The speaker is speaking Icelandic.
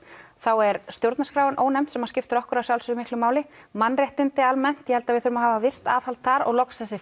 er stjórnarskráin ónefnd sem skiptir okkur að sjálfsögðu miklu máli mannréttindi almennt ég held að við þurfum að hafa virkt aðhald þar og loks þessi